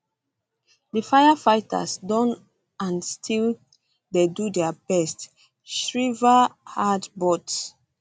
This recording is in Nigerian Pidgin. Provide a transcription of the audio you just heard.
di firefighters don and still um dey do dia best shriver add um but